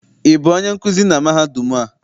Ị bụ onye nkuzi na mahadum a?